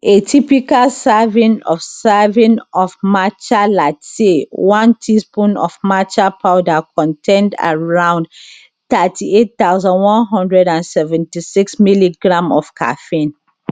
a typical serving of serving of matcha latte one teaspoon of matcha powder contain around 38176mg of caffeine